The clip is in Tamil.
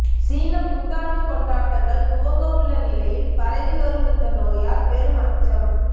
சீனப் புத்தாண்டு கொண்டாட்டங்கள் துவங்க உள்ள நிலையில் பரவி வரும் இந்த நோயால் பெரும் அச்சம்